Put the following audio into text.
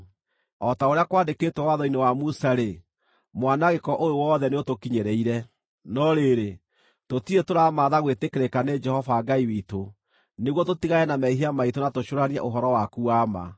O ta ũrĩa kwandĩkĩtwo watho-inĩ wa Musa-rĩ, mwanangĩko ũyũ wothe nĩũtũkinyĩrĩire. No rĩrĩ, tũtirĩ tũramaatha gwĩtĩkĩrĩka nĩ Jehova Ngai witũ, nĩguo tũtigane na mehia maitũ na tũcũũranie ũhoro waku wa ma.